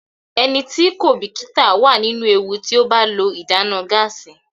Ẹni tí kò bìkítà wà nínú ewu tí ó bá lo ìdáná gáásì.